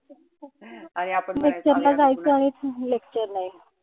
lecture ला जायचं आणि lecture नाई.